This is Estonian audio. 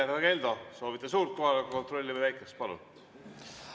Härra Keldo, soovite suurt kohaloleku kontrolli või väikest?